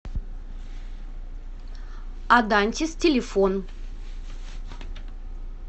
адантис телефон